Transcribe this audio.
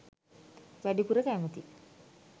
වැඩිපුර කැමති